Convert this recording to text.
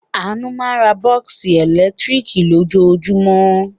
Àánú máa ń ra bọ́ọ́sì ẹ̀lẹ́tíríkì lójoojúmọ́.